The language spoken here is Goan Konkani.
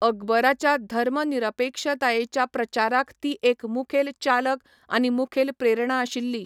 अकबराच्या धर्मनिरपेक्षतायेच्या प्रचाराक ती एक मुखेल चालक आनी मुखेल प्रेरणा आशिल्ली.